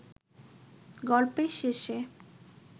গল্পের শেষে